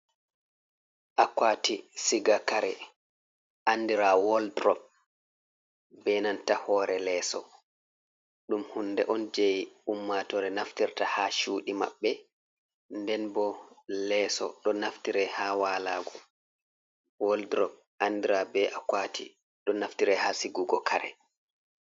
Akuati siga kare andira wadrop, benanta hore lesso ɗum hunde on jey ummatore naftirta ha cuɗi maɓɓe, nden bo leeso ɗo naftirai ha walgo, waldrop andira be akuati ɗo naftirai ha sigugo kare.